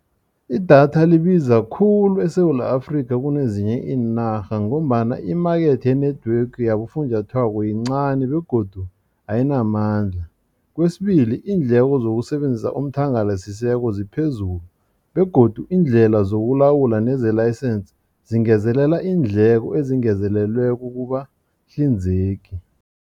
Idatha libiza khulu eSewula Afrika kunezinye inarha ngombana imakethe ye-network yabofunjathwako yincani begodu ayinamandla. Kwesibili iindleko zokusebenzisa umthangala sisekelo ziphezulu begodu iindlela zokulawula neze-license zingezelela iindleko ezingezelelweko kubahlinzeki.